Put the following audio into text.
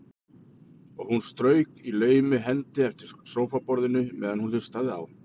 Og hún strauk í laumi hendi eftir sófaborðinu meðan hún hlustaði á